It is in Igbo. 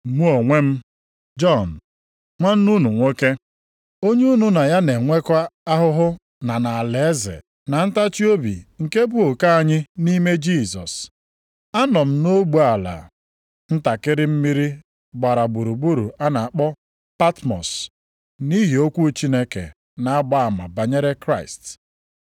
Mụ onwe m, Jọn, nwanne unu nwoke, onye unu na ya na-enwekọ ahụhụ na nʼalaeze, na ntachiobi nke bụ oke anyị nʼime Jisọs. Anọ m nʼogbe ala ntakịrị mmiri gbara gburugburu a na-akpọ Patmọs nʼihi okwu Chineke na-agba ama banyere Kraịst.